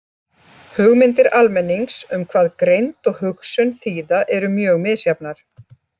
Hugmyndir almennings um hvað greind og hugsun þýða eru mjög misjafnar.